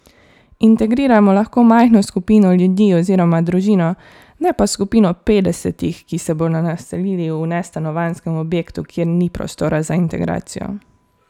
Integriramo lahko majhno skupino ljudi oziroma družino, ne pa skupino petdesetih, ki se bodo naselili v nestanovanjskem objektu, kjer ni prostora za integracijo.